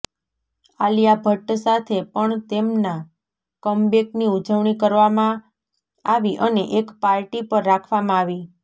આલિયા ભટ્ટ સાથે પણ તેમના કમબૅકની ઉજવણી કરવામાં આવી અને એક પાર્ટી પર રાખવામાં આવી